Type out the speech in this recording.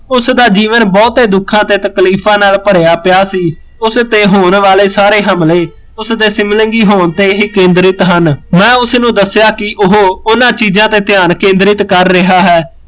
ਉਸਦਾ ਜੀਵਨ ਬਹੁਤੇ ਦੁੱਖਾਂ ਤੇ ਤਕਲੀਫਾਂ ਨਾਲ਼ ਭਰਿਆ ਪਿਆ ਸੀ ਉਸਤੇ ਹੋਣ ਵਾਲੇ ਸਾਰੇ ਹਮਲੇ ਉਸਦੇ ਸੀਬਲਿੰਗੀ ਹੋਣ ਤੇ ਹੀ ਕੇਂਦਰਿਤ ਹਨ, ਮੈਂ ਉਸਨੂ ਦੱਸਿਆ ਕੀ ਉਹ ਉਹਨਾਂ ਚੀਜ਼ਾ ਤੇ ਧਿਆਨ ਕੇਂਦਰਿਤ ਕਰ ਰਿਹਾ ਹੈ